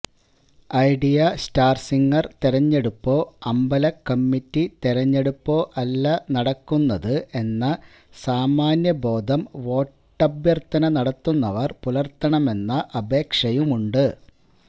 idea Star Singer തിരഞ്ഞെടുപ്പോ അമ്പലക്കമ്മിറ്റി തിരഞ്ഞെടുപ്പോ അല്ല നടക്കുന്നത് എന്ന സാമാന്യബോധം വോട്ടഭ്യർത്ഥന നടത്തുന്നവർ പുലർത്തണമെന്ന അപേക്ഷയുണ്ട്